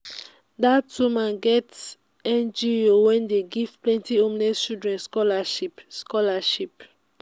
dat woman get ngo wey dey give plenty homeless children scholarship. scholarship.